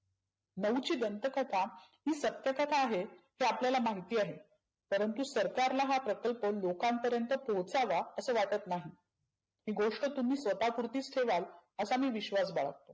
नऊची दंत कथा हि सत्य कथा आहे ते आपल्याला माहिती आहे. परंतु सरकारला हा प्रकल्प लोकांपर्यंत पोहचावा असं वाटत नाही. ही गोष्ट स्वतः पुरतीच ठेवाल असा मी विश्वास बाळगतो.